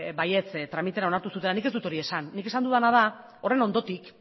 baietz tramitean onartu zutela nik ez dut hori esan nik esan dudana da horren ondotik